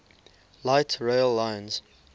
light rail lines